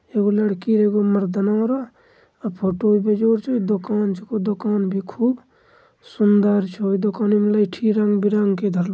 एगो लड़की एगो मर्दानवा रो फोटो भी जोर छे दोकान छे दोकान भी खूब सुंदर छे दुकान मे लहठी रंग-बीरंगी ।